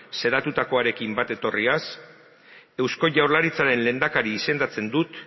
xedatutakoarekin bat etorriaz eusko jaurlaritzaren lehendakari izendatzen dut